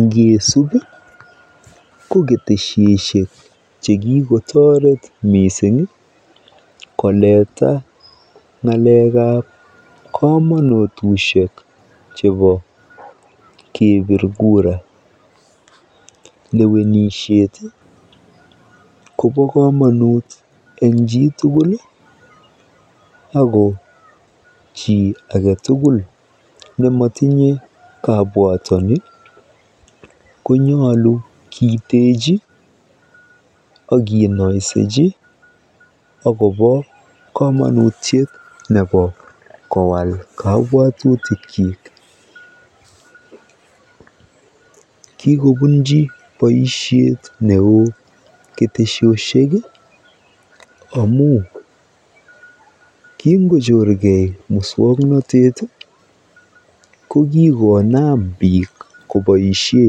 Ngeesub ko ketesiosiek chekikotoret mising eng koleta ngalekab komonutusiek chebo keebir kura. Lewenisiet kobo komonut eng biik tugul ako chi ake tugul nematinye kabwatani konyolu kiiteji akenoiseji akobo komonutiet nebo kowaal kabwatutikyik. Kikobunji boisiet neo ketesiosiek amu kingochorkei muswoknotet ko kikonam biik koboisie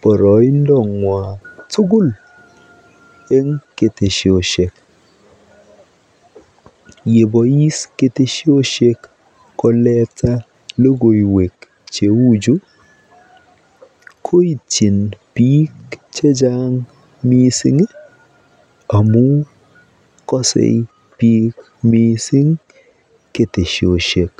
boroindong'wa tugul eng ketesiosiek. Yebois ketesiosiek koleta tuguuk cheuchu koityin biik chechang mising amu kasee biik checang ketesiosiek.